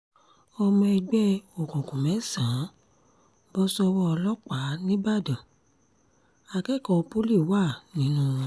ọmọ ẹgbẹ́ òkùnkùn mẹ́sàn-án bọ́ sọ́wọ́ ọlọ́pàá nìbàdàn akẹ́kọ̀ọ́ pọ́lì wà nínú wọn